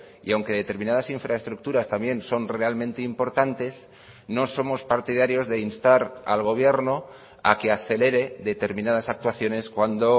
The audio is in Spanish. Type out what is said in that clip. y aunque determinadas infraestructuras también son realmente importantes no somos partidarios de instar al gobierno a que acelere determinadas actuaciones cuando